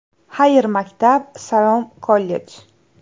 Xayr, maktab – salom, kollej!.